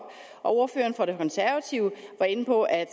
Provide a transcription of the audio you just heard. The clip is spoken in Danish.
og ordføreren for de konservative var inde på at